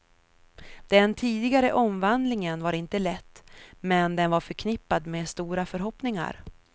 Den tidigare omvandlingen var inte lätt, men den var förknippad med stora förhoppningar.